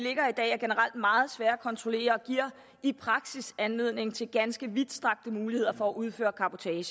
generelt meget svære at kontrollere og giver i praksis anledning til ganske vidtstrakte muligheder for at udføre cabotage